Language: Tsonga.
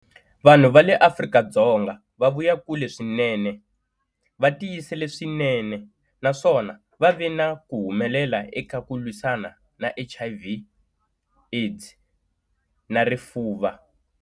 Vanhu va le Afrika-Dzonga va vuya kule swinene, va tiyisele swinene, naswona va ve na ku humelela eka ku lwisana na HIV, AIDS na Rifuva.